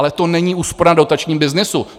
Ale to není úspora na dotačním byznysu.